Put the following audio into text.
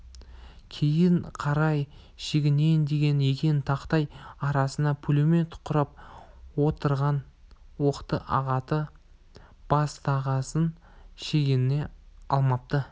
кейін қарай шегінейін деген екен тақтай арасына пулемет құрып отырғандар оқты ағыта бастағасын шегіне алмапты